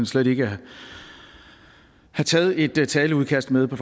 slet ikke have taget et taleudkast med på